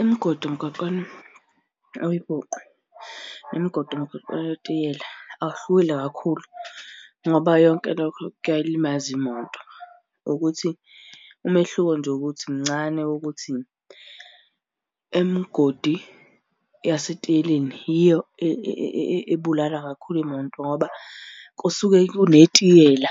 Imigodi emgwaqeni oyibhuqu nemigodi emgwaqeni owetiyela, awuhlukile kakhulu ngoba yonke lokho kuyayilimaza imoto, ukuthi umehluko nje ukuthi kuncane ukuthi, emgodi yasetiyeleni yiyo ebulala kakhulu imoto ngoba kusuke kunetiyela